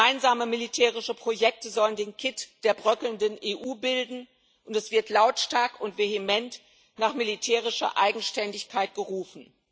Gemeinsame militärische Projekte sollen den Kitt der bröckelnden EU bilden, und es wird lautstark und vehement nach militärischer Eigenständigkeit gerufen.